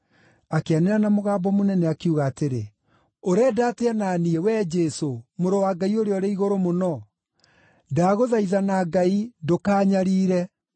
Akĩanĩrĩra na mũgambo mũnene, akiuga atĩrĩ, “Ũrenda atĩa na niĩ, wee Jesũ, Mũrũ wa Ngai-Ũrĩa-Ũrĩ-Igũrũ-Mũno? Ndagũthaitha na Ngai ndũkaanyariire!”